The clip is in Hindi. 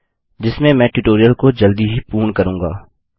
जिसमें मैं ट्यूटोरियल को जल्दी ही पूर्ण करूँगा